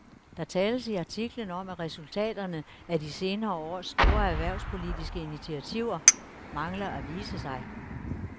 Der tales i artiklen om, at resultaterne af de senere års store erhvervspolitiske initiativer mangler at vise sig.